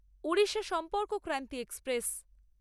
Orissa Sampark Kranti express